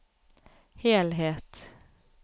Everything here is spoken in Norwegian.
helhet